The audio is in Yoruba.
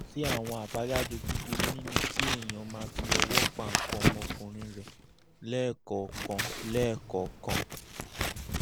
kò sí àwọn àbájáde búburú nínú kí èèyàn máa fi ọwọ́ pa nǹkan ọmọkùnrin rẹ̀ lẹ́ẹ̀kọ̀ọ̀kan lẹ́ẹ̀kọ̀ọ̀kan